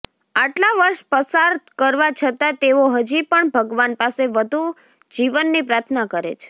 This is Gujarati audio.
આટલાં વર્ષ પસાર કરવા છતાં તેઓ હજી પણ ભગવાન પાસે વધુ જીવનની પ્રાર્થના કરે છે